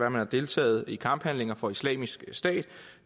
at man har deltaget i kamphandlinger for islamisk stat